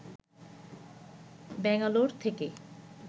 ব্যাঙ্গালোর থেকে